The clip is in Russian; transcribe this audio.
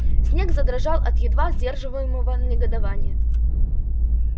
снегг задрожал от едва сдерживаемого негодования